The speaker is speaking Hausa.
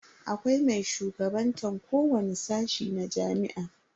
Akwai mai shugabantan kowani sashi na jami'a.